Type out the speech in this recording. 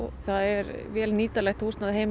það er vel nýtanlegt húsnæði heima